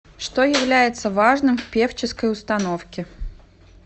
что является важным в певческой установке